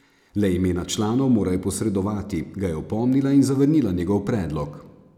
Le imena članov morajo posredovati, ga je opomnila in zavrnila njegov predlog.